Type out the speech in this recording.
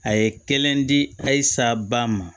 A ye kelen di a saba ma